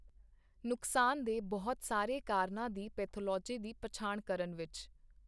ਨੁਕਸਾਨ ਦੇ ਬਹੁਤ ਸਾਰੇ ਕਾਰਨਾਂ ਦੀ ਪੈਥੋਲੋਜੀ ਦੀ ਪਛਾਣ ਕਰਨ ਵਿੱਚ।